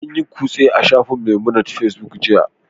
An yi kutse a shafin Memunant Facebook jiya